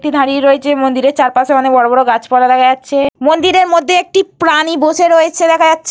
মন্দিরটি দাঁড়িয়ে রয়েছে। মন্দিরের চারপাশে অনেক গাছপালা দেখা যাচ্ছে। মন্দিরের মধ্যে একটি প্রাণী বসে রয়েছে দেখা যাচ্ছ --